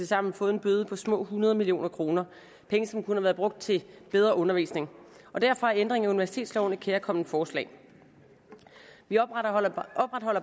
sammen fået en bøde på små hundrede million kr penge som kunne være brugt til bedre undervisning derfor er ændringen af universitetsloven et kærkomment forslag vi opretholder